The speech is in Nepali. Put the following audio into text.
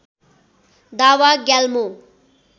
दावा ग्याल्मो